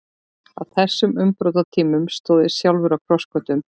Á þessum umbrotatímum stóð ég sjálfur á krossgötum.